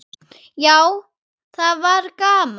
Já, það var gaman.